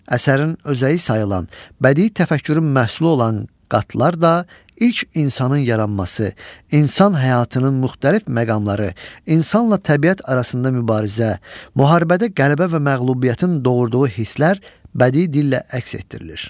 Əsərin özəyi sayılan bədii təfəkkürün məhsulu olan qatlar da ilk insanın yaranması, insan həyatının müxtəlif məqamları, insanla təbiət arasında mübarizə, müharibədə qələbə və məğlubiyyətin doğurduğu hisslər bədii dillə əks etdirilir.